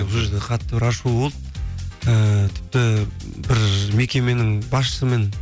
бұл жерде қатты бір ашу болды і тіпті бір мекеменің басшысымен